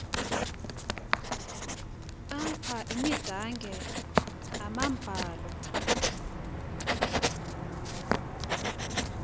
apha imidange amambalu